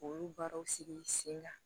K'olu baaraw sigi sen ga